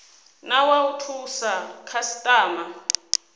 na wa u thusa khasitama